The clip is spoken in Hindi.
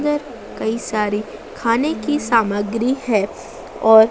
कई सारी खाने की सामग्री है और--